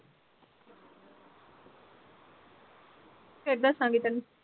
ਫੇਰ ਦੱਸਾਂਗੀ ਤੇਨੂੰ